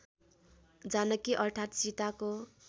जानकी अर्थात् सीताको